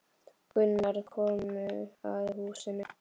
Gunnar komu að húsinu.